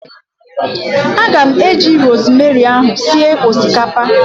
Anyị ga-eji rosemary ahu sie osikapa